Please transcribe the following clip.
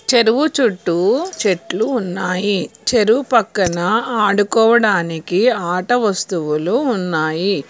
చెరువు చుట్టూ చెట్లు ఉన్నాయి చెరువు పక్కన ఆడుకోవడానికి ఆట వస్తువులు ఉన్నాయి.